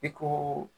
I ko